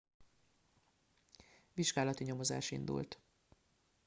vizsgálati nyomozás indult